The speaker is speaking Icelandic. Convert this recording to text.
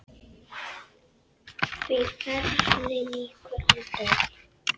Því ferli lýkur aldrei.